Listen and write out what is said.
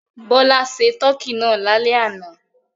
Bọ́lá se tọkí náà lálẹ́ àná.